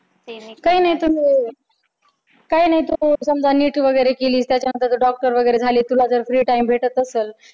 काही नाही तुम्ही काही नाही तुम्ही NEET वगैरे केली समजा त्याच्यानंतर doctor वगैरे झालीस तुला जर free time भेटत असल